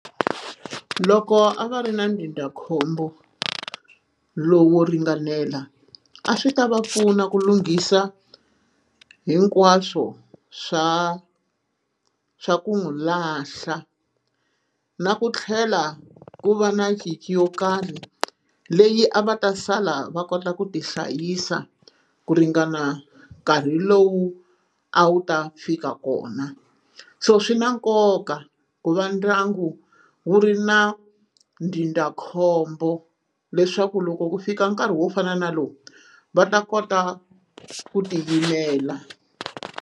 Loko a va ri na ndzindzakhombo lowu wo ringanela a swi ta va pfuna ku lunghisa hinkwaswo swa swa ku n'wi lahla na ku tlhela ku va na nkhinkhi yo karhi leyi a va ta sala va kota ku ti hlayisa ku ringana nkarhi lowu a wu ta fika kona so swi na nkoka ku va ndyangu wu ri na ndzindzakhombo leswaku loko ku fika nkarhi wo fana na lowu va ta kota ku tiyimela.